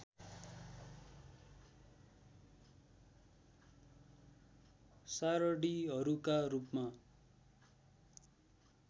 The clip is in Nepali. सारणिहरूका रूपमा